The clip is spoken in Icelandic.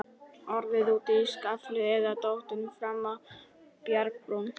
Orðið úti í skafli eða dottið fram af bjargbrún.